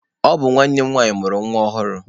Ọ bụ nwanne m nwanyị mụrụ nwa ọhụrụ.